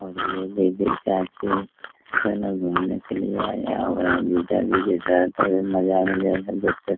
और ये जीजा दोनों घूमने के लिए आया हुआ है जीजा जी के साथ अभी मजा हम ले रहे हैं देख सक --